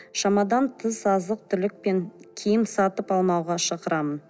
шамадан тыс азық түлік пен киім сатып алмауға шақырамын